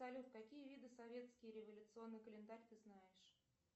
салют какие виды советский революционный календарь ты знаешь